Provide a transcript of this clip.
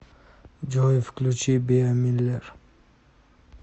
джой включи биа миллер